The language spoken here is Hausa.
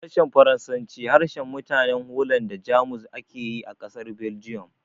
Harshen Faransanci, harshen mutanen Holland da Jamus ake yi a ƙasar Belgium